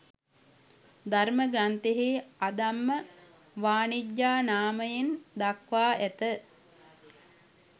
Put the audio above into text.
ධර්ම ග්‍රන්ථයෙහි අධම්ම වණිජ්ජා නාමයෙන් දක්වා ඇත.